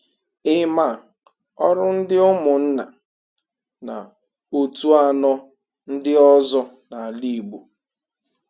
Ị ma ọrụ ndị ụmụnna na otu anọ ndị ọzọ n'ala Igbo?